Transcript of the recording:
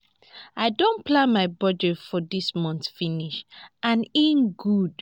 i don plan my budget for dis month finish and e good